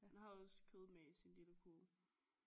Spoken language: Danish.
Han har også kød med i sin lille kurv